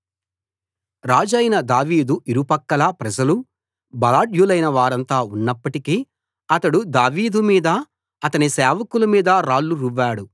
రాజైన దావీదు ఇరుపక్కలా ప్రజలు బలాఢ్యులైన వారంతా ఉన్నప్పటికీ అతడు దావీదు మీదా అతని సేవకుల మీదా రాళ్లు రువ్వాడు